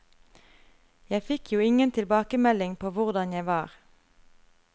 Jeg fikk jo ingen tilbakemelding på hvordan jeg var.